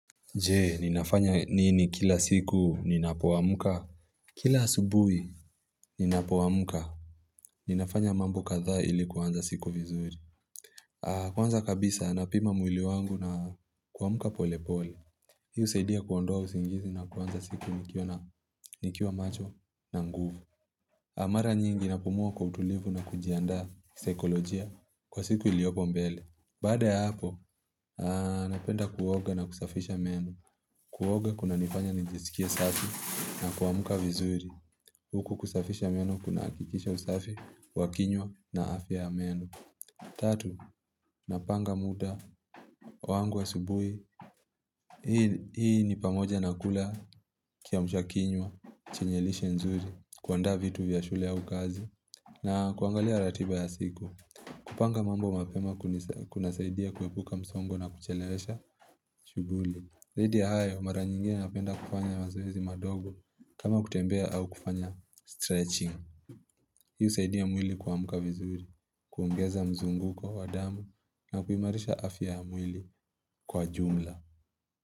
Je, ninafanya nini kila siku ninapoamka? Kila asubuhi, ninapoamka. Ninafanya mambo kadhaa ili kuanza siku vizuri. Kwanza kabisa, napima mwili wangu na kuamka polepole. Hii husaidia kuondoa usingizi na kuanza siku nikiwa macho na nguvu. Na mara nyingi napumua kwa utulivu na kujianda kisaikolojia kwa siku iliopo mbele. Baada ya hapo, napenda kuoga na kusafisha meno. Kuoga kunanifanya nijisikie safi na kuamka vizuri. Huku kusafisha meno kunahakikisha usafi, wa kinywa na afya ya meno. Tatu, napanga muda wangu asubuhi Hii ni pamoja na kula kiamsha kinywa, chenye lishe nzuri, kuandaa vitu vya shule au kazi na kuangalia ratiba ya siku kupanga mambo mapema kunasaidia kuepuka msongo na kuchelewesha shughuli. Zaidi ya hayo, mara nyingine napenda kufanya mazoezi madogo kama kutembea au kufanya stretching Hii husaidia mwili kuamka vizuri, kuongeza mzunguko wa damu na kuimarisha afya ya mwili kwa jumla.